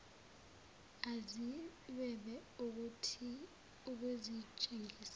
aziqh webe ukuzitshengisa